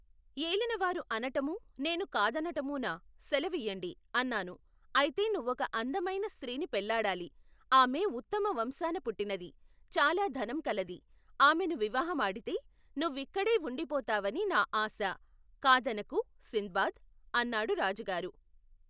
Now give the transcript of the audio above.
ఏలినవారు అనటమూ, నేను కాదనటమూనా? సెలవియ్యండి, అన్నాను. అయితే నువ్వొక అందమైన స్త్రీని పెళ్ళాడాలి. ఆమె ఉత్తమవంశాన పుట్టినది. చాలా ధనం కలది. ఆమెను వివాహం ఆడితే నువ్విక్కడే ఉండిపోతావని నా ఆశ. కాదనకు, సింద్ బాద్! అన్నాడు రాజుగారు.